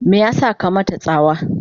me yasa ka mata tsawa?